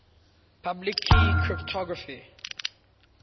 public key cryptography